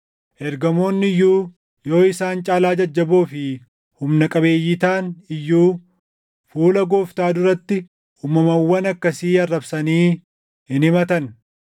ergamoonni iyyuu yoo isaan caalaa jajjaboo fi humna qabeeyyii taʼan iyyuu fuula Gooftaa duratti uumamawwan akkasii arrabsanii hin himatan.